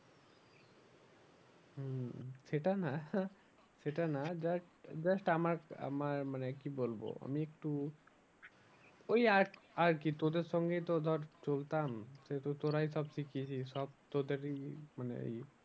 সেটা না সেটা না just, just আমার, আমার মানে কি বলবো আমি একটু ওই আর কি তোদের সঙ্গেই তো ধর চলতাম সেহেতু তোরাই সব শিখিয়েছিস সব তোদেরই মানে